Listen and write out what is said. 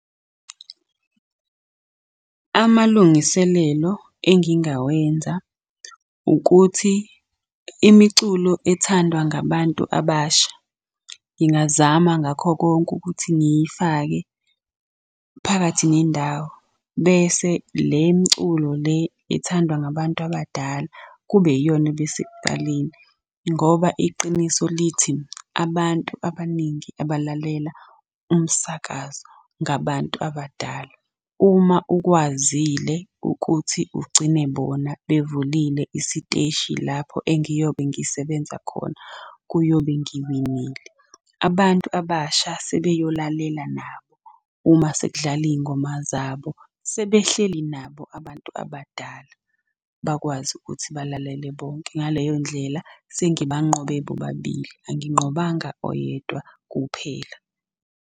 Amalungiselelo engingawenza ukuthi imiculo ethandwa ngabantu abasha, ngingazama ngakho konke ukuthi ngiyifake phakathi nendawo. Bese le mculo le ethandwa ngabantu abadala kube yiyona eba sekuqaleni, ngoba iqiniso lithi abantu abaningi abalalela umsakazo ngabantu abadala. Uma ukwazile ukuthi ugcine bona bevulile isiteshi lapho engiyobe ngisebenza khona, kuyobe ngiwinile. Abantu abasha sebeyolalela nabo uma sekudlala iy'ngoma zabo, sebehleli nabo abantu abadala bakwazi ukuthi balalele bonke. Ngaleyo ndlela sengibanqobe bobabili, anginqobanga oyedwa kuphela.